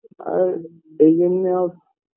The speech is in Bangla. আর এই জন্যেও